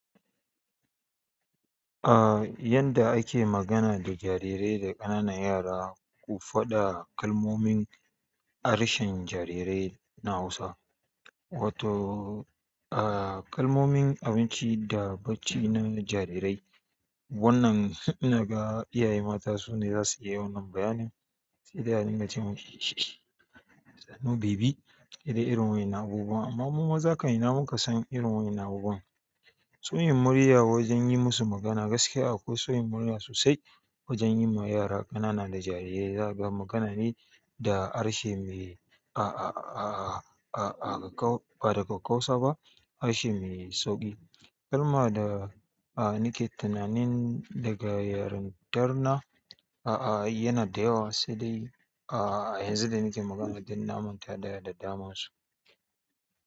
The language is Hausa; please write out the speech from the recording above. Ah, yadda ake magana da jarirai da ƙananan yara, ku faɗa kalmomin harshen jarirai na Hausa. Wato, ah, kalmomin abinci da bacci na jarirai. Wannan ina ga iyaye mata ne za su iya wannan bayanin sai dai a dinga ce mishi ishish, sannan baby, daɗe irin wayen nan abubuwan. Amma mu maza kam ina muka san irin wayen nan abubuwan. So yin murya wajen yi musu magana gaskiya akwai so yin murya sosai wajen yi ma yara ƙanana da jarirai. Zaka ga magana ne da harshe me aa, aa, aa, aa, aa, ba daga karkausa ba, harshe me sauƙi. Kar ma da, ah, nike tunanin daga yarintar na, a'a, yana da yawa sai dai, ah, yanzu da nike magana dan na manta da da daman su.